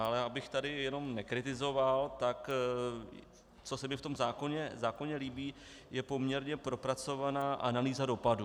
Ale abych tady jenom nekritizoval, tak co se mi v tom zákoně líbí, je poměrně propracovaná analýza dopadů.